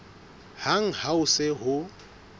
hang ha ho se ho